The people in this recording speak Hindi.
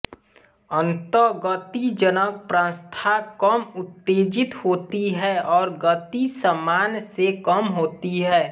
अंततः गतिजनक प्रांतस्था कम उत्तेजित होती है और गति सामान्य से कम होती है